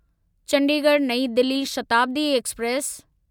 Chandigarh New Delhi Shatabdi express